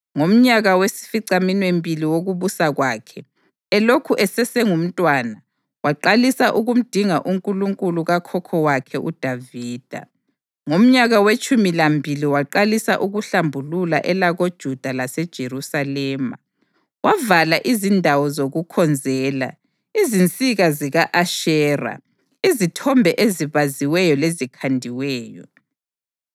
Ngomnyaka wesificaminwembili wokubusa kwakhe, elokhu esesengumntwana, waqalisa ukumdinga uNkulunkulu kakhokho wakhe uDavida. Ngomnyaka wetshumi lambili waqalisa ukuhlambulula elakoJuda laseJerusalema, wavala izindawo zokukhonzela, izinsika zika-Ashera, izithombe ezibaziweyo lezikhandiweyo.